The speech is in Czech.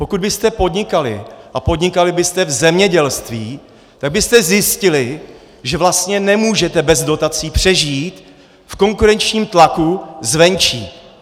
Pokud byste podnikali a podnikali byste v zemědělství, tak byste zjistili, že vlastně nemůžete bez dotací přežít v konkurenčním tlaku zvenčí.